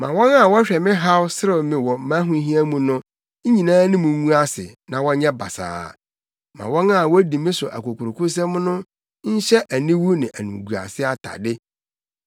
Ma wɔn a wɔhwɛ me haw serew me wɔ mʼahohiahia mu no nyinaa anim ngu ase na wɔnyɛ basaa; ma wɔn a wodi me so akokurokosɛm no nhyɛ aniwu ne animguase atade.